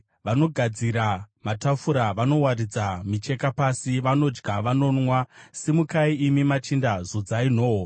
Vanogadzira matafura, vanowaridza micheka pasi, vanodya, vanonwa! Simukai, imi machinda, zodzai nhoo!